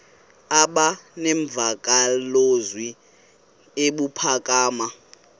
aba nemvakalozwi ebuphakama